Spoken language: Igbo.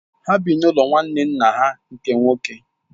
Ha bi n’ụlọ nwanne nna ha nke nwoke.